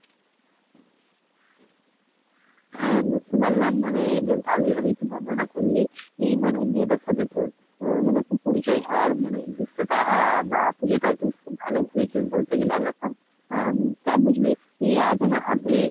হ্যাঁ বুঝতে পারলাম মানে বেশ ভালোই ভাবে একটু বর্ণনা করলি, মানে মেয়েটার সাথে তোর, তোর মানে পরিচয় হওয়ার মানে দৃশ্য টা আহ বা পূজো টাও তোর খুব ভালো ঘুরেছিস বলতে গেলে একরকম আহ তা বুঝলি আজ আমার হাতে